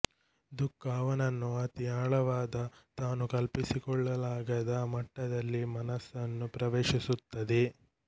ದುಃಖ ಅವನನ್ನು ಅತೀ ಆಳವಾದ ತಾನು ಕಲ್ಪಿಸಿಕೊಳ್ಳಲಾಗದ ಮಟ್ಟದಲ್ಲಿ ಮನಸ್ಸನ್ನು ಪ್ರವೇಶಿಸುತ್ತದೆ